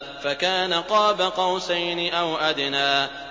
فَكَانَ قَابَ قَوْسَيْنِ أَوْ أَدْنَىٰ